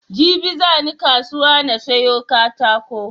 Jibi zani kasuwa na siyo katako